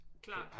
Klart